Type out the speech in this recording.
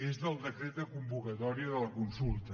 és del decret de convocatòria de la consulta